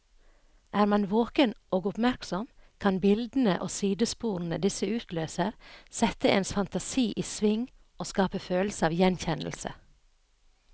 Er man våken og oppmerksom, kan bildene og sidesporene disse utløser, sette ens fantasi i sving og skape følelse av gjenkjennelse.